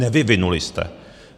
Nevyvinuli jste.